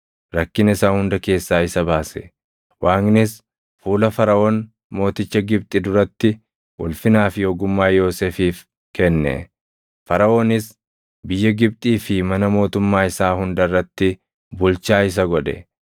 rakkina isaa hunda keessaa isa baase; Waaqnis fuula Faraʼoon mooticha Gibxi duratti ulfinaa fi ogummaa Yoosefiif kenne; Faraʼoonis biyya Gibxii fi mana mootummaa isaa hunda irratti bulchaa isa godhe.